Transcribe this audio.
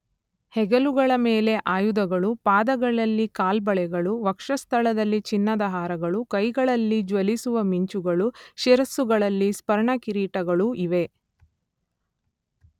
ಹೆಗಲುಗಳ ಮೇಲೆ ಆಯುಧಗಳೂ ಪಾದಗಳಲ್ಲಿ ಕಾಲ್ಬಳೆಗಳೂ ವಕ್ಷಃಸ್ಥಳದಲ್ಲಿ ಚಿನ್ನದ ಹಾರಗಳೂ ಕೈಗಳಲ್ಲಿ ಜ್ವಲಿಸುವ ಮಿಂಚುಗಳೂ ಶಿರಸ್ಸುಗಳಲ್ಲಿ ಸ್ವರ್ಣಕಿರೀಟಗಳೂ ಇವೆ.